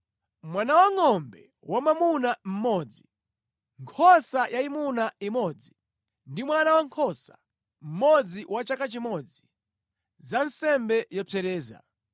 mwana wangʼombe wamwamuna mmodzi, nkhosa yayimuna imodzi ndi mwana wankhosa mmodzi wa chaka chimodzi, za nsembe yopsereza: